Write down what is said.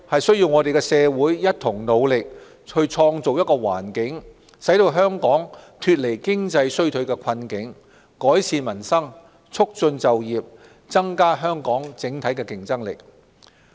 社會務必一同努力推動經濟復蘇，使香港脫離經濟衰退的困境，改善民生，促進就業，增加香港整體競爭力。